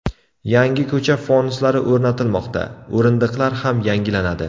Yangi ko‘cha fonuslari o‘rnatilmoqda, o‘rindiqlar ham yangilanadi.